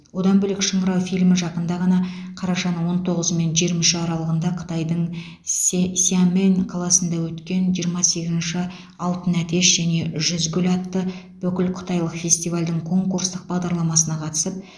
одан бөлек шыңырау фильмі жақында ғана қарашаның он тоғызы мен жиырма үші аралығында қытайдың ся сямэнь қаласында өткен жиырма сегізінші алтын әтеш және жүз гүл атты бүкілқытайлық фестивальдің конкурстық бағдарламасына қатысып